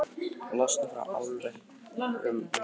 Losun frá álverum minnkar